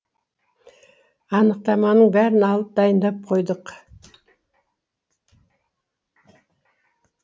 анықтаманың бәрін алып дайындап қойдық